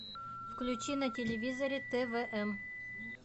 включи на телевизоре твм